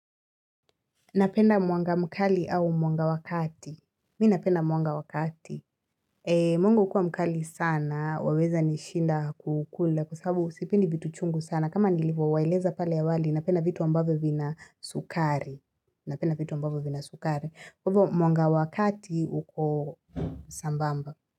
Napenda mwanga mkali au mwanga wa kati. Mi napenda mwanga wa kati. Mungu hukua mkali sana. Waweza nishinda kukula. Kwa sababu sipendi vitu chungu sana. Kama nilivyo waeleza pale awali napenda vitu ambave vina sukari. Napenda vitu ambavyo vina sukari. Mwanga wakati uko sambamba.